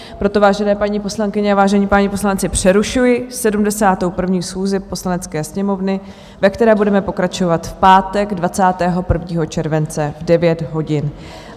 Proto, vážené paní poslankyně a vážení páni poslanci, přerušuji 71. schůzi Poslanecké sněmovny, ve které budeme pokračovat v pátek 21. července v 9 hodin.